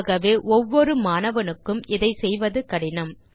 ஆகவே ஒவ்வொரு மாணவனுக்கு இதை செய்வது கடினம்